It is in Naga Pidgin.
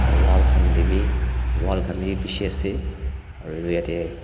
wall khan dae bhi wall khan dae bhi beshi ase aro etu yateh--